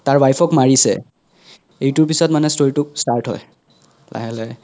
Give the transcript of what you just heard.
তাৰ wife ক মাৰিছে এইতোৰ পিছ্ত মানে story তো start হয় লাহে লাহে